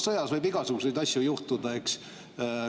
Sõjas võib igasuguseid asju juhtuda, eks.